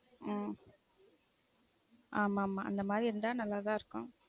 உம் ஆமா மா அந்த மாதிரி இருந்தா நல்லா தான் இருக்கும்